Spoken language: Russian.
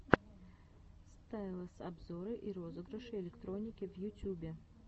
стайлэс обзоры и розыгрыши электроники в ютюбе